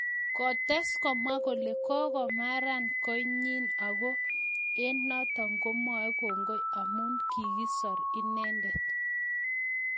Kotes komwa kole kokamaran koinyi Ako eng notok komwae kongoi amu kokisor inendet .